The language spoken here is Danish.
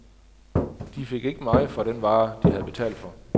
De fik ikke meget for den vare, de havde betalt for.